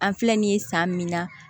An filɛ nin ye san min na